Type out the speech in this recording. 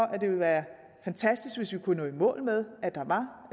at det ville være fantastisk hvis vi kunne nå i mål med at der